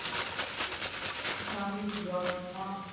ਠੰਡ ਵੀ ਹੁੰਦੀ ਐ ਉਦੋਂ ਤਾਂ